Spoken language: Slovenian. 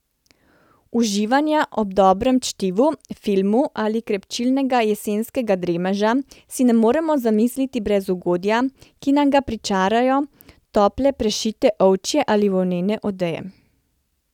Uživanja ob dobrem čtivu, filmu ali krepčilnega jesenskega dremeža si ne moremo zamisliti brez ugodja, ki nam ga pričarajo tople prešite ovčje ali volnene odeje.